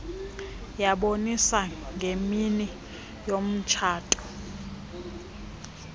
yaboniswa ngemini yomtshato